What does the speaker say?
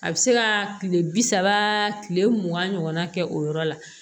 A bɛ se ka kile bi saba kile mugan ɲɔgɔnna kɛ o yɔrɔ la